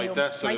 Aitäh!